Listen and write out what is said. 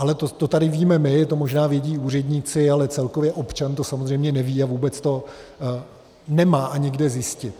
Ale to tady víme my, to možná vědí úředníci, ale celkově občan to samozřejmě neví a vůbec to nemá ani kde zjistit.